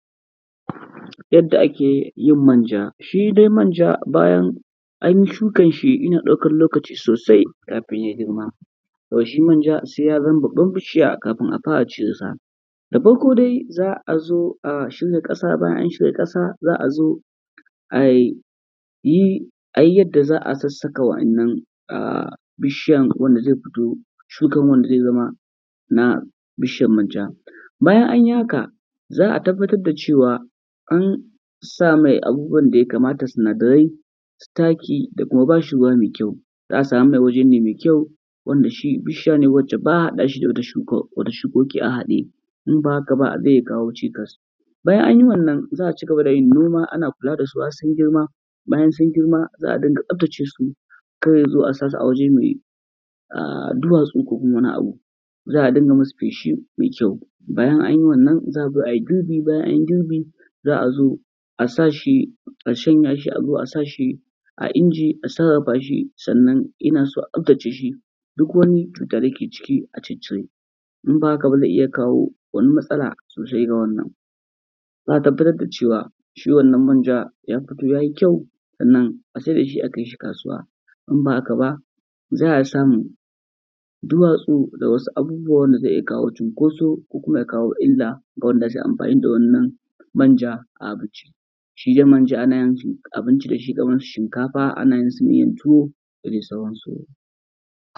Yadda ake yin manja. Shi dai manja bayan an yi shukan shi yana ɗaukan lokaci sosai kafin ya girma. To shi manja sai ya zama babban bishiya kafin a fara cire sa. Da farko dai za a zo a shirya ƙasa bayan an shirya ƙasa, za a zo a yi, a yi yadda za a sassaka wa'innan bishiyan wanda zai fito, shukan wanda zai zama na bishiyan manja. Bayan an yi haka, za a tabbatar da cewa an sa mai abubuwan da ya kamata, sinadarai, su taaki da kuma ba shi ruwa mai kyau, za a samar mai waje ne mai kyau wanda shi bishiya ne wacce ba a haɗa shi da wata shuka, wata shukoki a haɗe, in ba haka ba zai kawo cikas. Bayan anyi wannan za a cigaba da yin noma ana kula da su har sun girma, bayan sun girma za a dinga tsaftace su, kar ya zo a sa su a waje mai duwatsu ko kuma wani abu, za a dinga masu feshi mai kyau. Bayan anyi wannan, za a zo a yi girbi, bayan anyi girbi, za a zo a sa shi, a shanya shi, a zo sa shi a inji a sarrafa shi, sannan ina so a tsaftace shi duk wani cuta da yake ciki a ciccire, in ba haka ba zai iya kawo wani matsala sosai ga wannan. Za a tabbatar da cewa shi wannan manja ya fito ya yi kyau, sannan a saida shi a kai shi kasuwa, in ba haka ba za a samun duwatsu da wasu abubuwa wanda zai iya kawo cunkoso ko kuma ya kawo illa ga wanda za su yi amfani da wannan manja a abinci. Shi dai manja ana yin abinci da shi kamar su shinkafa da miyan tuwo da dai sauransu.